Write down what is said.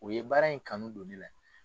O ye baara in kanu don de la.